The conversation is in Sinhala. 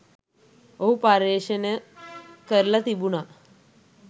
ඔහු පර්යේෂණ කරලා තිබුනා